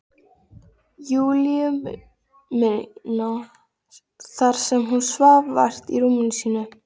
Júlíu mína þar sem hún svaf vært í rúminu sínu.